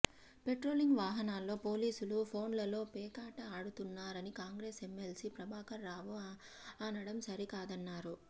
patrolling వాహనాల్లో పోలీసులు ఫోన్లలో పేకాట ఆడుతున్నారని కాంగ్రెస్ ఎమ్మెల్సీ ప్రభాకర్ రావు అనడం సరికాదన్నారు